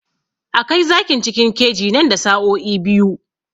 A kai zakin cikin keji nan da sa'o'i biyu